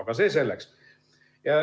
Aga see selleks.